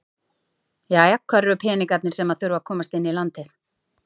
Jæja hvar eru peningarnir sem að þurfa að komast inn í landið?